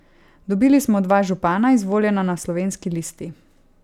Dobili smo dva župana, izvoljena na slovenski listi.